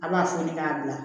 A b'a foni k'a bila